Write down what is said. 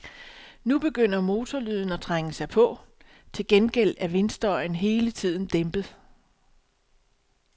Nu begynder motorlyden at trænge sig på, til gengæld er vindstøjen hele tiden dæmpet.